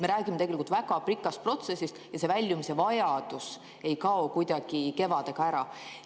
Me räägime tegelikult väga pikast protsessist ja see väljumise vajadus ei kao kuidagi kevadega ära.